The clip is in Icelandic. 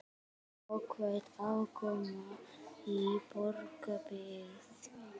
Jákvæð afkoma í Borgarbyggð